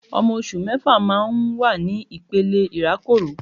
Ọmọ oṣù mẹ́fà máa ń wà ní ìpele ìrákòrò